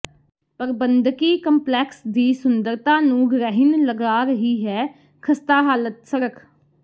ਪ੍ਰਬੰਧਕੀ ਕੰਪਲੈਕਸ ਦੀ ਸੁੰਦਰਤਾ ਨੂੰ ਗ੍ਰਹਿਣ ਲਗਾ ਰਹੀ ਹੈ ਖ਼ਸਤਾ ਹਾਲਤ ਸੜਕ